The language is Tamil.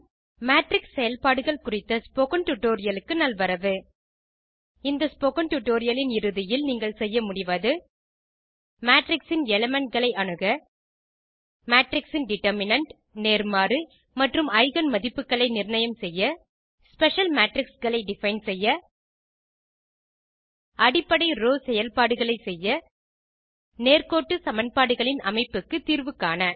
மேட்ரிக்ஸ் செயல்பாடுகள் குறித்த ஸ்போக்கன் டியூட்டோரியல் க்கு நல்வரவு இந்த ஸ்போக்கன் டியூட்டோரியல் இன் இறுதியில் நீங்கள் செய்ய முடிவது மேட்ரிக்ஸ் இன் elementகளை அணுக மேட்ரிக்ஸ் இன் டிட்டர்மினன்ட் நேர்மாறு மற்றும் எய்கென் மதிப்புகளை நிர்ணயம் செய்ய ஸ்பெஷல் மேட்ரிக்ஸ் களை டிஃபைன் செய்ய அடிப்படை ரோவ் செயல்பாடுகளை செய்ய நேர்க்கோட்டு சமன்பாடுகளின் அமைப்புக்கு தீர்வு காண